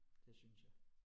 Det synes jeg